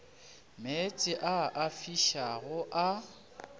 meetse a a fišago a